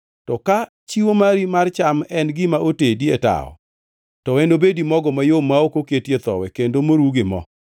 To ka chiwo mari mar cham en gima otedi e tawo, to enobedi mogo mayom ma ok oketie thowi, kendo moru gi mo.